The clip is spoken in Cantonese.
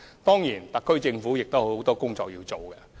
當然，特區政府還有很多工作需要進行。